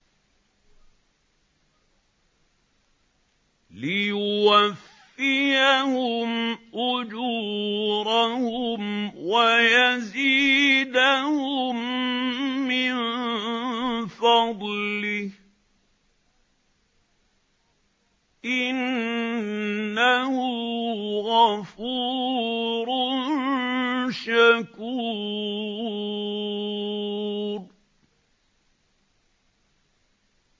لِيُوَفِّيَهُمْ أُجُورَهُمْ وَيَزِيدَهُم مِّن فَضْلِهِ ۚ إِنَّهُ غَفُورٌ شَكُورٌ